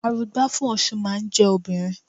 Arugbá fún Ọ̀ṣun máa ń jẹ́ obìnrin.